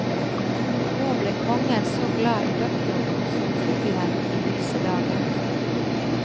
Nå ble kongen så glad i doktoren som fuglen i lyse dagen.